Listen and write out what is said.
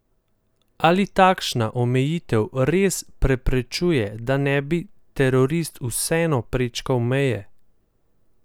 Ali takšna omejitev res preprečuje, da ne bi terorist vseeno prečkal meje?